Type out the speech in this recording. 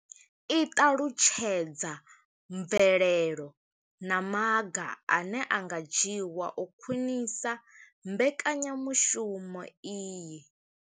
I ṱalutshedza mvelelo na maga ane a nga dzhiwa u khwinisa mbekanyamushumo iyi.